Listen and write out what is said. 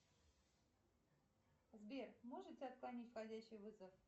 сбер можете отклонить входящий вызов